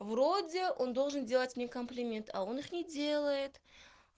вроде он должен делать мне комплимент а он их не делает